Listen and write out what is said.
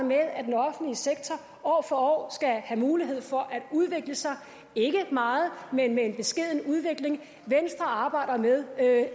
med at den offentlige sektor år for år skal have mulighed for at udvikle sig ikke meget men med en beskeden udvikling venstre arbejder med at